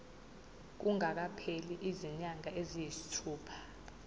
kungakapheli izinyanga eziyisithupha